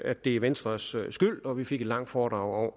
at det er venstres skyld og vi fik et langt foredrag